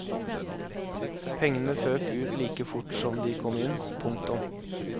Pengene føk ut like fort som de kom inn. punktum